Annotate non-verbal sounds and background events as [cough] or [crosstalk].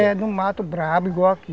[unintelligible] no mato, brabo, igual aqui.